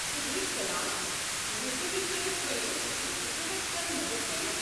صٗبحچ سلام، مہربٲنی كٔرِتھ ؤنو بہٕ کِتھہٕ ہٮ۪كہٕ توہہِ مدتھ كرِتھ؟